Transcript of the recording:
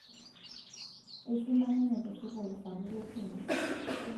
eisoma ninye te sukuul sapuk e kinya